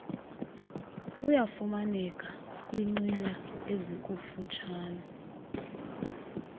uyafumaneka kwinqila ezikututshane